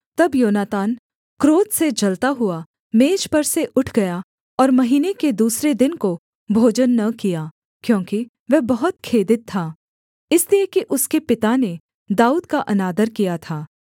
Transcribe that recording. तब योनातान क्रोध से जलता हुआ मेज पर से उठ गया और महीने के दूसरे दिन को भोजन न किया क्योंकि वह बहुत खेदित था इसलिए कि उसके पिता ने दाऊद का अनादर किया था